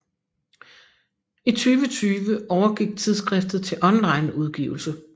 I 2020 overgik tidsskriftet til online udgivelse